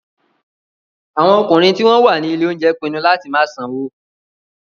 Àwọn ọkùnrin tí wọ́n wà ní ilé-oúnjẹ pinnu láti má sanwó.